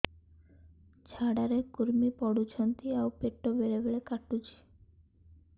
ଝାଡା ରେ କୁର୍ମି ପଡୁଛନ୍ତି ଆଉ ପେଟ ବେଳେ ବେଳେ କାଟୁଛି